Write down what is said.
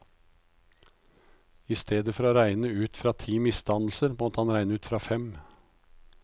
I stedet for å regne ut fra ti misdannelser, måtte han regne ut fra fem.